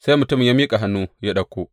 Sai mutumin ya miƙa hannu ya ɗauka.